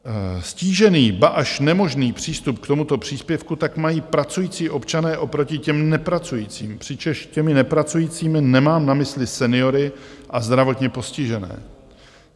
Ztížený, ba až nemožný přístup k tomuto příspěvku tak mají pracující občané oproti těm nepracujícím, přičemž těmi nepracujícími nemám na mysli seniory a zdravotně postižené.